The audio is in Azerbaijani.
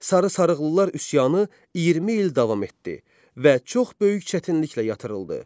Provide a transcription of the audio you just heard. Sarı sarıqlılar üsyanı 20 il davam etdi və çox böyük çətinliklə yatırıldı.